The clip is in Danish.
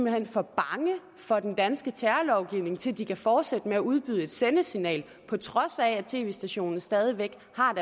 er for bange for den danske terrorlovgivning til at de kan fortsætte med at udbyde et sendesignal på trods af at tv stationen stadig væk